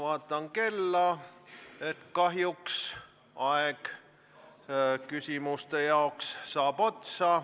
Ma vaatan kella ja näen, et kahjuks saab küsimuste esitamise aeg otsa.